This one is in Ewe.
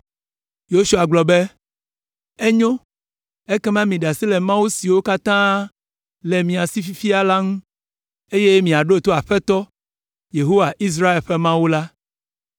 Yosua gblɔ be, “Enyo, ekema miɖe asi le mawu siwo katã le mia si fifia la ŋu, eye miaɖo to Aƒetɔ, Yehowa, Israel ƒe Mawu la.”